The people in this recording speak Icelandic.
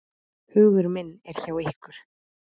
Hugur minn er hjá ykkur.